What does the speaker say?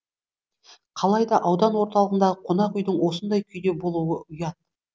қалайда аудан орталығындағы қонақ үйдің осындай күйде болуы ұят